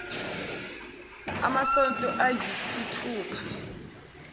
amasonto ay isithupha